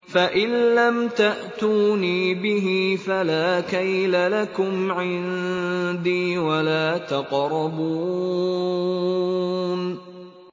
فَإِن لَّمْ تَأْتُونِي بِهِ فَلَا كَيْلَ لَكُمْ عِندِي وَلَا تَقْرَبُونِ